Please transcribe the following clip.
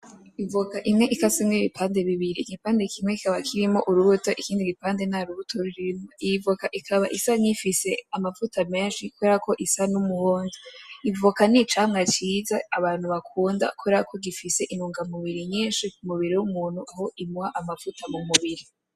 Ivoka imwe ikasemwo ibipande bibiri igipande kimwe kikaba kirimwo urubuto ikindi gipande ntarubuto rurimwo iyi voka ikaba isa nifise amavuta menshi kuberako isa n'umuhondo ivoka n'icamwa kiza abantu bakunda kuberako gifise intungamubiri nyinshi k'umubiri w'umuntu aho inwa amavuta mu mubiri.